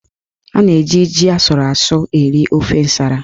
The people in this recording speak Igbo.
A na-eji ji asụrụ asụ eri ofe nsara.